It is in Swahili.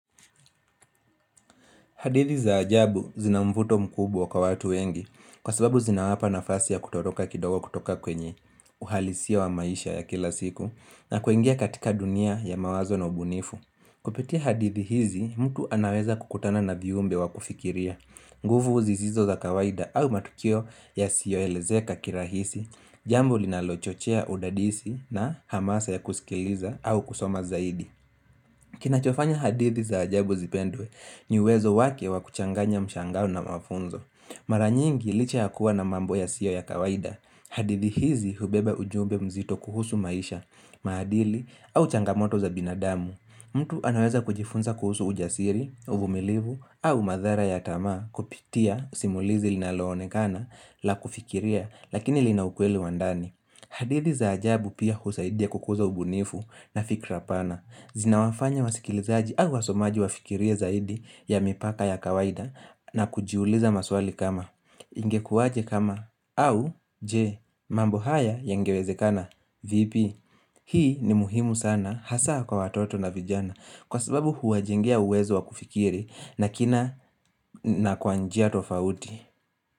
Hadithi za ajabu zina mvuto mkubwa kwa watu wengi kwa sababu zinawapa nafasi ya kutoroka kidogo kutoka kwenye uhalisia wa maisha ya kila siku na kuingia katika dunia ya mawazo na ubunifu. Kupitia hadithi hizi mtu anaweza kukutana na viumbe wa kufikiria. Nguvu zizizo za kawaida au matukio yasiyo elezeka kirahisi jambo linalochochea udadisi na hamasa ya kusikiliza au kusoma zaidi. Kinachofanya hadithi za ajabu zipendwe ni uwezo wake wa kuchanganya mshangao na mafunzo. Mara nyingi licha ya kuwa na mambo yasiyo ya kawaida. Hadithi hizi hubeba ujumbe mzito kuhusu maisha, maadili au changamoto za binadamu. Mtu anaweza kujifunza kuhusu ujasiri, uvumilivu au madhara ya tamaa kupitia simulizi linaloonekana la kufikiria lakini lina ukweli wa ndani. Hadithi za ajabu pia husaidia kukuza ubunifu na fikira pana. Zinawafanya wasikilizaji au wasomaji wafikirie zaidi ya mipaka ya kawaida na kujiuliza maswali kama. Ingekuwaje kama au je mambo haya yangewezekana vipi. Hii ni muhimu sana hasa kwa watoto na vijana kwa sababu huwajengea uwezo wa kufikiri na kina na kwa njia tofauti.